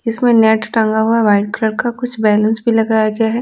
इसमें नेट टांगा हुआ है वाइट कलर का कुछ बेंगल्स भी लगाया गया है।